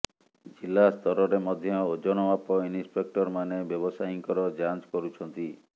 ଜିଲ୍ଲାସ୍ତରରେ ମଧ୍ୟ ଓଜନ ମାପ ଇନ୍ସପେକ୍ଟରମାନେ ବ୍ୟବସାୟୀଙ୍କର ଯାଞ୍ଚ କରୁଛନ୍ତି